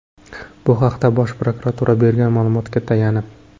Bu haqda Bosh prokuratura bergan ma’lumotga tayanib.